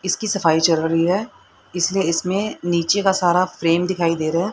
इसकी सफाई चल रही है इसलिए इसमें नीचे का सारा फ्रेम दिखाई दे रहा है।